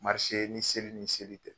ni seli ni seli tɛ